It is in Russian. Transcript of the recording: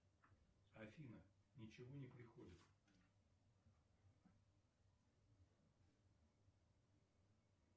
афина ничего не приходит